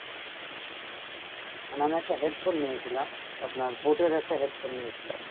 মানে আমি একটা headphone নিয়েছিলাম, আপনার Boat এর একটা headphone নিয়েছিলাম